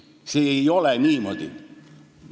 See ei ole niimoodi.